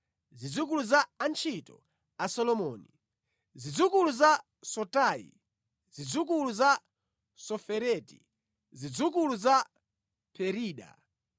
Zidzukulu za antchito a Solomoni: Zidzukulu za Sotai, zidzukulu za Sofereti, zidzukulu za Perida